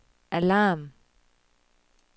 alarm